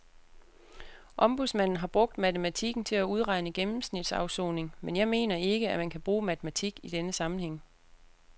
Ombudsmanden har brugt matematikken til at udregne gennemsnitsafsoning, men jeg mener ikke, at man kan bruge matematik i denne sammenhæng.